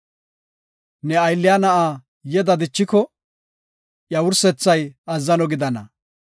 Ne aylliya na7a yeda dichiko, iya wursethay azzano gidana.